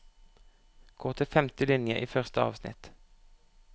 Gå til femte linje i første avsnitt